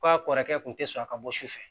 K'a kɔrɔkɛ kun tɛ sɔn a ka bɔ su fɛ